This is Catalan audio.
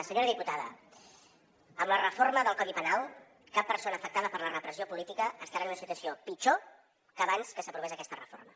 senyora diputada amb la reforma del codi penal cap persona afectada per la repressió política estarà en una situació pitjor que abans que s’aprovés aquesta reforma